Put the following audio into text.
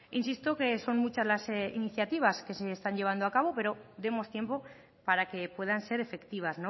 insisto que son muchas las iniciativas que se están llevando a cabo pero demos tiempo para que puedan ser efectivas